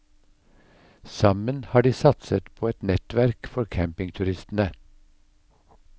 Sammen har de satset på et nettverk for campingturistene.